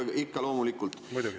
Ikka-ikka, jaa, loomulikult.